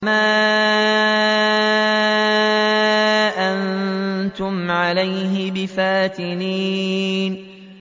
مَا أَنتُمْ عَلَيْهِ بِفَاتِنِينَ